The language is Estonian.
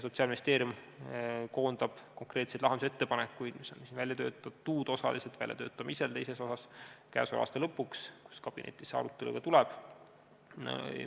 Sotsiaalministeerium koondab konkreetseid lahendusettepanekuid, mis on välja töötatud või osaliselt väljatöötamisel, teises osas, selle aasta lõpuks, kui kabinetis see arutelu tuleb.